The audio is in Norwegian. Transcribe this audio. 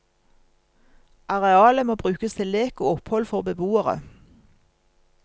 Arealet må brukes til lek og opphold for beboere.